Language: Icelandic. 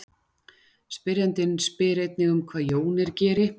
Spyrjandinn spyr einnig um hvað jónir geri.